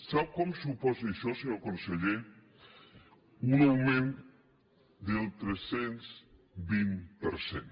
sap quant suposa això senyor conseller un augment del tres cents i vint per cent